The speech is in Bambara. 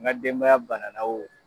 N ka denbaya bana na o